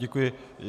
Děkuji.